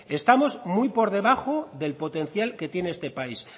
estamos muy por debajo del potencial que tiene este país